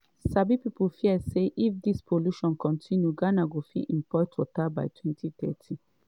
sabi pipo fear say if dis pollution continue ghana go fit import water by 2030.